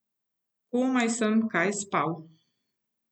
Komaj kaj sem spal.